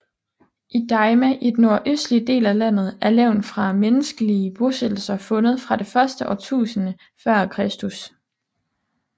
I Daima i den nordøstlige del af landet er levn fra menneskelige bosættelser fundet fra det første årtusinde før Kristus